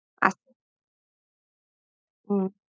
হম